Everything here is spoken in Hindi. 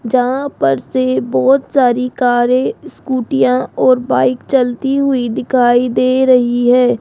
जहां पर से बहोत सारी कारे स्कूटियां और बाइक चलती हुई दिखाई दे रही है।